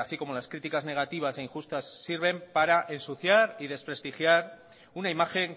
así como las críticas negativas e injustas sirven para ensuciar y desprestigiar una imagen